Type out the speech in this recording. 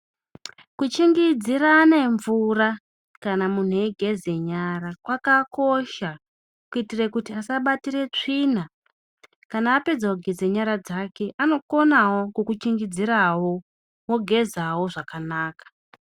Kuchingidzirane mvura kana munhu eigeze nyara kwakakosha kuitire kuti asabatire tsvina kana apedze kugeze nyara dzake anokonawo kukuchingidzirawo wogezawi zvakanaka.